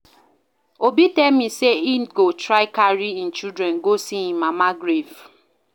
Obi tell me say he go try carry im children go see im mama grave